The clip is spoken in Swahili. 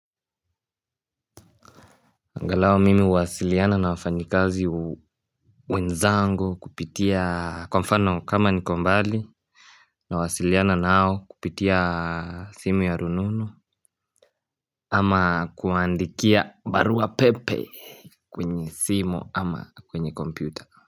Angalau mimi huwasiliana na wafanyikazi huu wenzangu kupitia kwa mfano kama niko mbali nawasiliana nao kupitia simu ya rununu ama kuandikia barua pepe kwenye simu ama kwenye kompyuta.